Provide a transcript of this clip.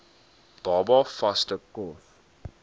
baba vaste kos